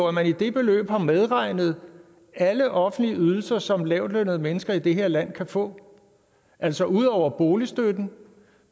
at der i det beløb er medregnet alle offentlige ydelser som lavtlønnede mennesker i det her land kan få altså ud over boligstøtten